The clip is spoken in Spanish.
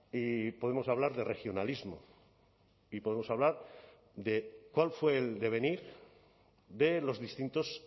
y podemos hablar de regionalismo y podemos hablar de cuál fue el devenir de los distintos